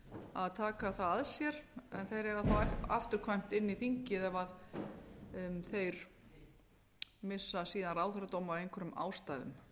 að taka það að sér en þeir eiga ekki afturkvæmt inn í þingið ef þeir missa síðan ráðherradóm af einhverjum ástæðum